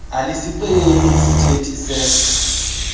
alisixeleli iisithethi se